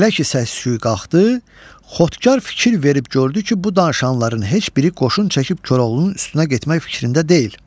Elə ki səs-küy qalxdı, xodkar fikir verib gördü ki, bu danışanların heç biri qoşun çəkib Koroğlunun üstünə getmək fikrində deyil.